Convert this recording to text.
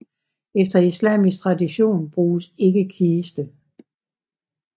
Efter islamisk tradition bruges ikke kiste